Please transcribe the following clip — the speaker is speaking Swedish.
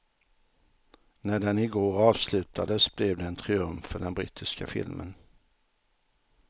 När den i går avslutades blev det en triumf för den brittiska filmen.